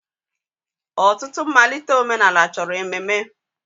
Ọtụtụ mmalite omenala chọrọ ememe.